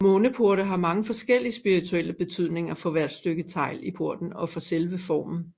Måneporte har mange forskellige spirituelle betydninger for hvert stykke tegl i porten og for selve formen